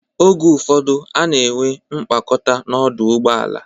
Oge ụfọdụ, a na-enwe mkpakọta n'ọdụ ụgbọala.